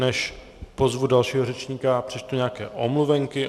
Než pozvu dalšího řečníka, přečtu nějaké omluvenky.